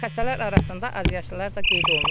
Xəstələr arasında azyaşlılar da qeyd olunub.